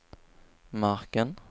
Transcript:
marken